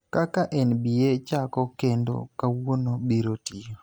Kaka NBA chako kendo kawuono biro tiyo